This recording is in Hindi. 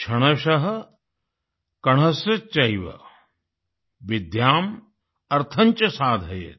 क्षणश कणशश्चैव विद्याम् अर्थं च साधयेत्